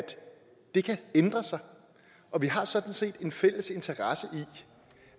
det kan ændre sig og vi har sådan set en fælles interesse i